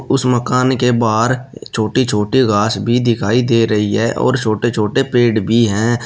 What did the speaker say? उस मकान के बाहर छोटी छोटे घास भी दिखाई दे रही है और छोटे छोटे पेड़ भी हैं।